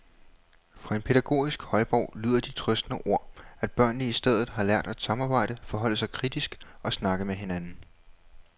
Fra den pædagogiske højborg lyder de trøstende ord, at børnene i stedet har lært at samarbejde, forholde sig kritisk og snakke med hinanden.